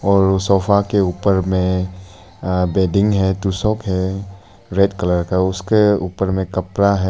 और सोफा के ऊपर में अ बेडिंग है तोशक है रेड कलर का उसके ऊपर में कपड़ा है।